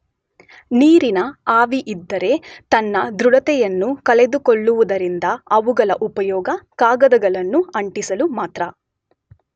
ನೀರಿನ ಆವಿಯಿದ್ದರೆ ತನ್ನ ದೃಢತೆಯನ್ನು ಕಳೆದುಕೊಳ್ಳುವುದರಿಂದ ಅವುಗಳ ಉಪಯೋಗ ಕಾಗದಗಳನ್ನು ಅಂಟಿಸಲು ಮಾತ್ರ.